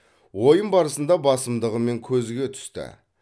ойын барысында басымдығымен көзге түсті